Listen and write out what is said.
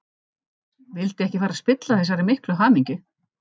Vildi ekki fara að spilla þessari miklu hamingju.